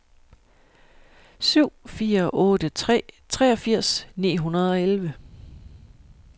syv fire otte tre treogfirs ni hundrede og elleve